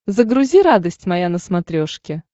загрузи радость моя на смотрешке